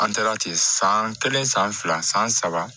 An taara ten san kelen san fila san saba